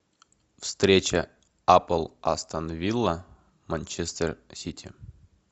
встреча апл астон вилла манчестер сити